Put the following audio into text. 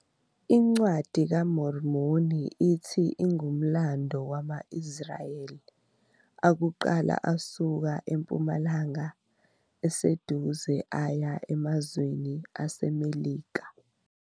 INcwadi kaMormoni ithi ingumlando wama- Israyeli akuqala asuka eMpumalanga Eseduze aya emazweni aseMelika.